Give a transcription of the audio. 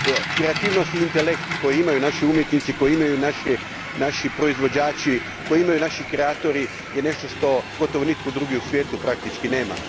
Kreativnost i intelekt koji imaju naši umjetnici, koji imaju naši proizvođači, koji imaju naši kreatori je nešto što gotovo nitko drugi u svijetu praktički nema.